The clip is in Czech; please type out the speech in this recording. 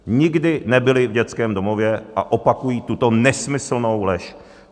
Nikdy nebyli v dětském domově a opakují tuto nesmyslnou lež.